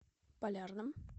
полярном